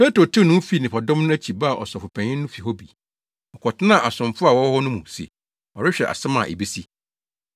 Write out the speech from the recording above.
Petro tew ne ho dii nnipadɔm no akyi baa Ɔsɔfopanyin no fi hɔ bi. Ɔkɔtenaa asomfo a wɔwɔ hɔ no mu se ɔrehwɛ asɛm a ebesi.